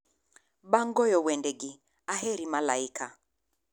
Bang' goyo wendegi, aheri malaika